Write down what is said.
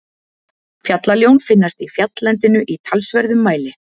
Fjallaljón finnast í fjalllendinu í talsverðum mæli.